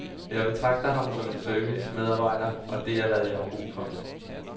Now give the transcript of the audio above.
Jeg betragter ham som en servicemedarbejder, og det er, hvad jeg har brug for.